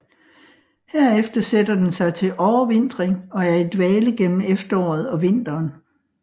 Herefter sætter den sig til overvintring og er i dvale gennem efteråret og vinteren